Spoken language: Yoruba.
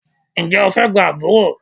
Ǹjẹ́ o fẹ́ gba àbúrò?